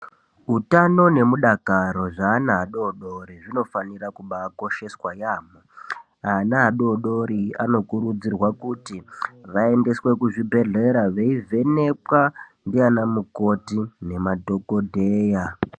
Utano nemudakaro zvaana adodori zvinobafanira kubakosheswa yamho ana adodori anokurudzirwa kuti vaendeswe kuzvibhehlera veivhenekwa ndiana mukoti nemadhokodheya.